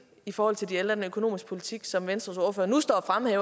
i forhold til de ældre den økonomiske politik som venstres ordfører nu står